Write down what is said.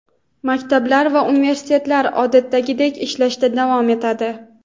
maktablar va universitetlar odatdagidek ishlashda davom etadi.